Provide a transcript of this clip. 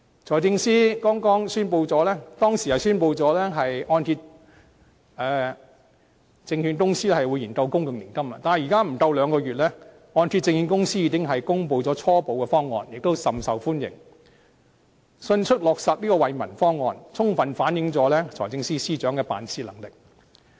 財政司司長之前宣布按揭證券公司會研究公共年金，但距離現在不足兩個月，按揭證券公司已公布初步方案，亦甚受歡迎，迅速落實這項惠民方案，充分反映財政司司長的辦事能力。